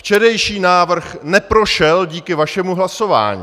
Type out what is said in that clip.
Včerejší návrh neprošel díky vašemu hlasování.